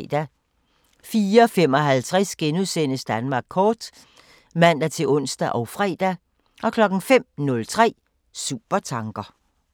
04:55: Danmark kort *(man-ons og fre) 05:03: Supertanker